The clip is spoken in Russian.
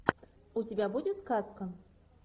у тебя будет сказка